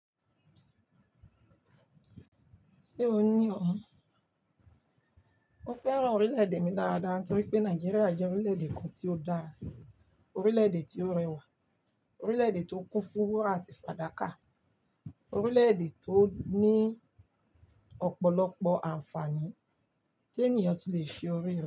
Ṣé o ní ọ̀hún? Mo fẹ́ràn orílè-èdè mi dáadáa torí pé Nàìjíríà jẹ́ orílè-èdè kan tí ó dára, orílè-èdè tí ó rẹwà, orílè-èdè tó kún fún wúrà àti fàdákà, orílè-èdè tó ní ọ̀pọ̀lọpọ̀ ànfààní tí ènìyàn ti lè ṣe orí re.